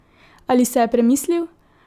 Ali se je premislil?